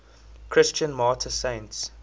christian martyr saints